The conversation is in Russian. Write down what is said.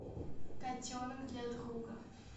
котенок для друга